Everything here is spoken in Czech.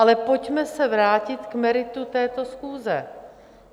Ale pojďme se vrátit k meritu této schůze.